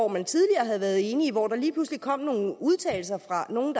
man tidligere havde været enige hvor der lige pludselig kom nogle udtalelser fra nogle